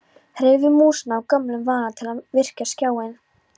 Hreyfði músina af gömlum vana til að virkja skjáinn.